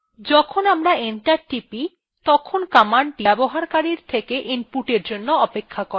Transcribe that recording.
যখন আমরা enter টিপি তখন commandthe ব্যবহারকারীর থেকে input জন্য অপেক্ষা করে